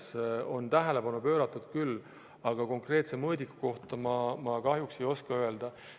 Sellele on tähelepanu pööratud küll, aga konkreetse mõõdiku kohta ma kahjuks ei oska midagi öelda.